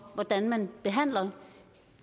hvordan man behandler